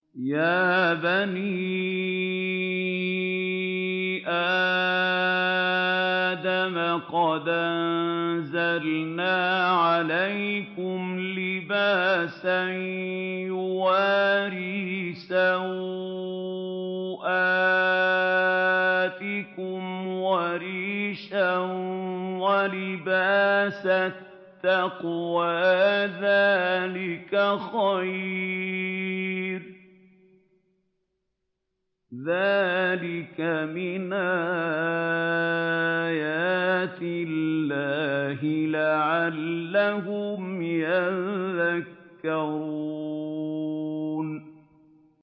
يَا بَنِي آدَمَ قَدْ أَنزَلْنَا عَلَيْكُمْ لِبَاسًا يُوَارِي سَوْآتِكُمْ وَرِيشًا ۖ وَلِبَاسُ التَّقْوَىٰ ذَٰلِكَ خَيْرٌ ۚ ذَٰلِكَ مِنْ آيَاتِ اللَّهِ لَعَلَّهُمْ يَذَّكَّرُونَ